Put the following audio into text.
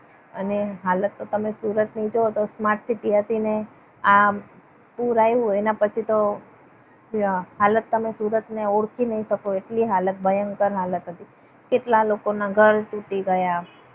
અને હાલત તો તમે સુરતની જુઓ તો તમે smart city હતી. ને આ પુર આવ્યું એના પછી તો હાલત તમે સુરતને ઓળખી નહીં શકો. એટલી હાલત ભયંકર હાલત હતી. કેટલા લોકોના ઘર તૂટી ગયા.